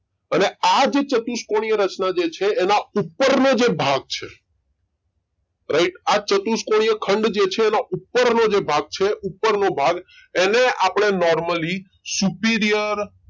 અને આ જે ચતુષ્કોણીય રચના જે છે એના ઉપર નો જે ભાગ છે રાઈટેઆ ચતુષ્કોણીય ખંડ જે છે એનો ઉપર નો જે ભાગ છે ઉપર નો ભાગ એને આપડે Normally superior